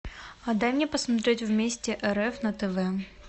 а дай мне посмотреть вместе рф на тв